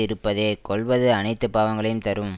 இருப்பதே கொல்வது அனைத்து பாவங்களையும் தரும்